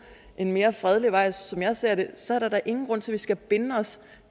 en mere fredelig vej som jeg ser det så er der da ingen grund til at vi skal binde os